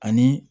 Ani